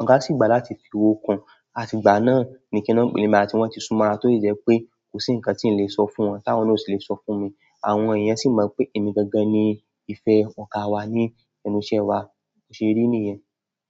ọ̀gá si gbà láti fi owó kun. Àti ìgbà náà ni kíni ó ń pè emi àti won tí súnmọ́ ara tó ìjẹ́ pé kò sí ǹkan tí n lè sọ fún wọn tí àwọn náà sì le sọ fún mi. Àwọn eeyan si mo pe emi gan gan ni ìfẹ́ ọ̀gá wa ni ẹnu iṣẹ́ wa bo ṣe rí nìyẹn?